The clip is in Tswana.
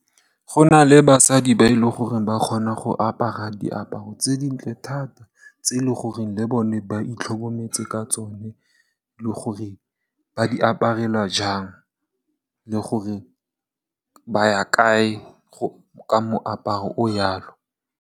Go na le basadi ba e leng gore ba kgona go apara diaparo tse dintle thata tse e leng gore le bone ba itlhokometse ka tsone, le gore ba di aparela jang, le gore ba ya kae ka moaparo o yalo.